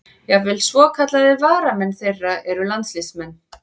Jafnvel svokallaðir varamenn þeirra eru landsliðsmenn.